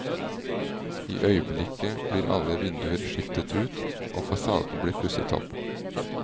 I øyeblikket blir alle vinduer skiftet ut, og fasaden blir pusset opp.